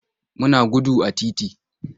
Muna gudu a titi.